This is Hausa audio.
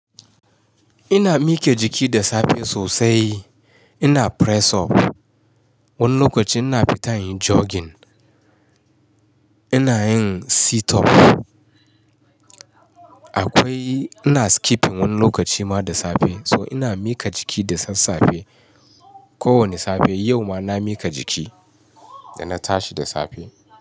Ina mike jiki da safe sosai. Ina press up, wani lokaci ina fitan yin jogging, ina yin sit up. Akwai-- ina skipping wani lokaci ma da safe. So ina mika jiki da sassafe, kowane safe. Yau ma na mika jiki da na tashi da safe.